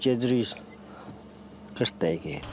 Gedirik 40 dəqiqəyə.